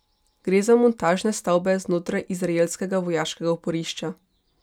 Gre za montažne stavbe znotraj izraelskega vojaškega oporišča.